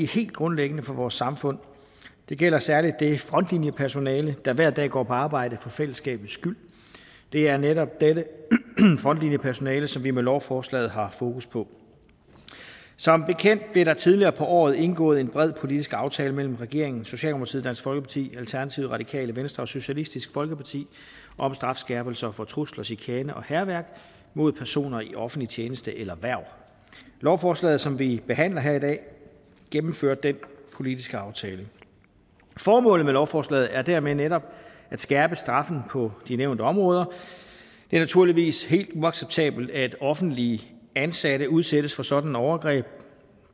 helt grundlæggende for vores samfund det gælder særligt det frontlinjepersonale der hver dag går på arbejde for fællesskabets skyld det er netop dette frontlinjepersonale som vi med lovforslaget har fokus på som bekendt blev der tidligere på året indgået en bred politisk aftale mellem regeringen socialdemokratiet dansk folkeparti alternativet radikale venstre og socialistisk folkeparti om strafskærpelser for trusler chikane og hærværk mod personer i offentlig tjeneste eller hverv lovforslaget som vi behandler her i dag gennemfører den politiske aftale formålet med lovforslaget er dermed netop at skærpe straffen på de nævnte områder det er naturligvis helt uacceptabelt at offentligt ansatte udsættes for sådanne overgreb